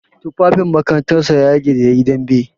Tufafin makarantar sa ya yage da yayi dambe.